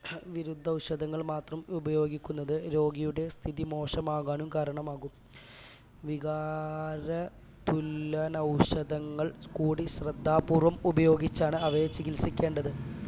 വിരുദ്ധഔഷധങ്ങൾ മാത്രം ഉപയോഗിക്കുന്നത് രോഗിയുടെ സ്ഥിതി മോശമാകാനും കാരണമാകും വികാര തുല്യ ഔഷധങ്ങൾ കൂടി ശ്രദ്ധാപൂർവം ഉപയോഗിച്ചാണ് അവയെ ചികിൽസിക്കേണ്ടത്